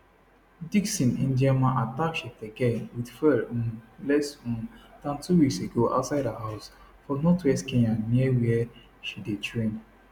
dickson ndiema attack cheptegei wit fuel um less um dan two weeks ago outside her house for northwest kenya near wia she dey train